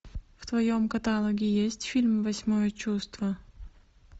в твоем каталоге есть фильм восьмое чувство